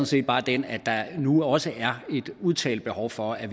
set bare den at der nu også er et udtalt behov for at